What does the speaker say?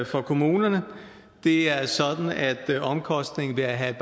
for kommunerne det er sådan at omkostningen ved at have